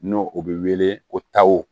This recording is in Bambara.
N'o o bɛ wele ko taw